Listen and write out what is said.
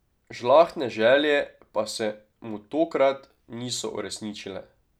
Žlahtne želje pa se mu tokrat niso uresničile.